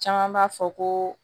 Caman b'a fɔ ko